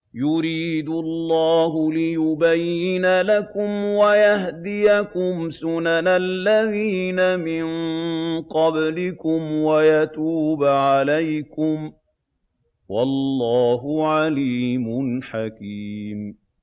يُرِيدُ اللَّهُ لِيُبَيِّنَ لَكُمْ وَيَهْدِيَكُمْ سُنَنَ الَّذِينَ مِن قَبْلِكُمْ وَيَتُوبَ عَلَيْكُمْ ۗ وَاللَّهُ عَلِيمٌ حَكِيمٌ